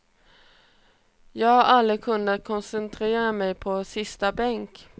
Jag har aldrig kunnat koncentrera mig på sista bänk.